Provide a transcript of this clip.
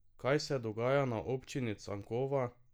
Kaj se dogaja na občini Cankova?